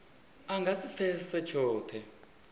a nga si pfesese tshothe